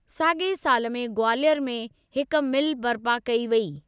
साॻिए साल में ग्वालियर में हिक मिल बर्पा कई वेई।